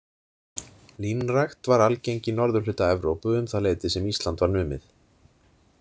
Línrækt var algeng í norðurhluta Evrópu um það leyti sem Ísland var numið.